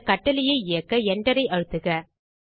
இந்தக் கட்டளையை இயக்க Enter ஐ அழுத்துக